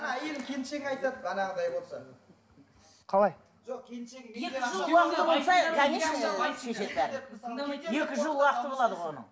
әйелің келіншегің айтады қалай екі жыл уақыты болады ғой оның